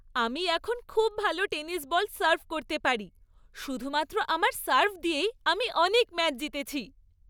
আমি এখন খুব ভালো টেনিস বল সার্ভ করতে পারি। শুধুমাত্র আমার সার্ভ দিয়েই আমি অনেক ম্যাচ জিতেছি।